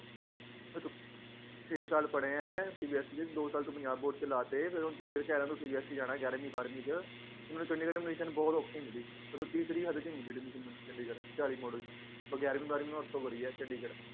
ਵੇ ਤੂੰ ਛੇ ਸਾਲ ਪੜ੍ਹਿਆਂ ਏ ਸੀ ਬੀ ਐੱਸ ਈ ਚ ਦੋ ਸਾਲ ਤੂੰ ਪੰਜਾਬ ਬੋਰਡ ਚ ਲਾਤੇ ਤੇ ਹੁਣ ਤੂੰ ਫਿਰ ਕਹਿ ਰਿਹਾ ਏ ਮੈਨੂੰ ਸੀ ਬੀ ਐੱਸ ਈ ਜਾਣਾ ਏ ਗਿਆਰ੍ਹਵੀਂ ਬਾਰ੍ਹਵੀਂ ਚ ਤੇ ਮੈਨੂੰ ਚੰਡੀਗੜ੍ਹ admission ਬਹੁਤ ਔਖੀ ਮਿਲੀ ਮਤਲਬ ਤੀਸਰੀ ਹੱਦ ਚ ਈ ਮਿਲੀ admission ਮੈਨੂੰ ਚੰਡੀਗੜ੍ਹ ਚਾਲੀ ਕ ਮੋਡਲ ਚ ਬਾ ਗਿਆਰ੍ਹਵੀਂ ਬਾਰ੍ਹਵੀਂ ਮੈ ਓਥੋਂ ਕਰੀ ਏ ਚੰਡੀਗੜ੍ਹ